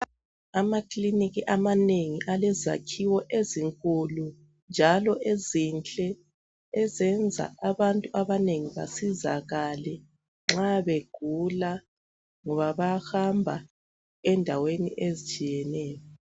Amakilinika amanengi alezakhiwo ezinkulu njalo ezinhle ezenza abantu abanengi besizakale nxa begula ngoba bayahamba endaweni ezitshiyeneyo.